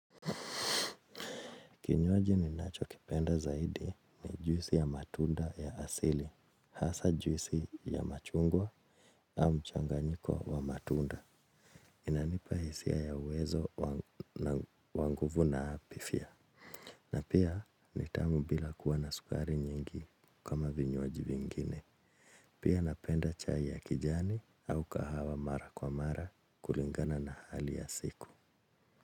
Kinywaji ninacho kipenda zaidi ni juisi ya matunda ya asili, hasaa juisi ya machungwa au mchanganyiko wa matunda. Inanipa hisia ya uwezo wa nguvu na afia. Na pia ni tamu bila kuwa na sukari nyingi kama vinywaji vingine. Pia napenda chai ya kijani au kahawa mara kwa mara kulingana na hali ya siku.